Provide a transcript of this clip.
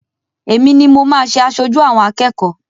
Èmi ni mo máa ṣe aṣojú àwọn akẹ́kọ̀ọ́.